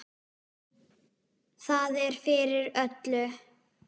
Það er fyrir öllu.